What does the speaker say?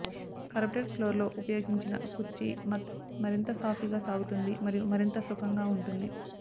carpeted ఫ్లోర్లో ఉపయోగించిన కుర్చీ మత్ మరింత సాఫీగా సాగుతుంది మరియు మరింత సుఖంగా ఉంటుంది